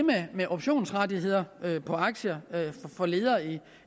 med optionsrettigheder på aktier for ledere i